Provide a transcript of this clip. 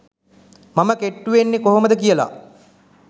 මම කෙට්ටු වෙන්නේ කොහොමද කියලා